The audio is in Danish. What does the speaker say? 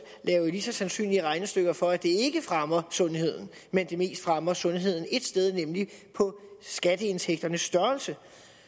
lave lige så sandsynlige regnestykker for at det ikke fremmer sundheden men mest fremmer sundheden ét sted nemlig på skatteindtægternes størrelse